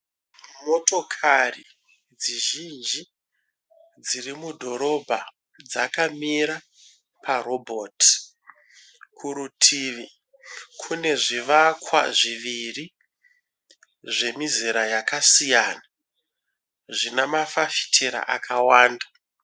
Motokati dzizhinji dzirimudhorobha dzakamira parobhoti. Kurutivi kune zvivakwa zviviri zvemizera yakasiyana zvinamafafitera akawanda.